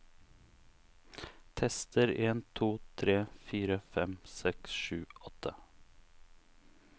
Tester en to tre fire fem seks sju åtte